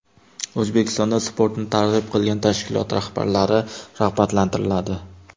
O‘zbekistonda sportni targ‘ib qilgan tashkilot rahbarlari rag‘batlantiriladi.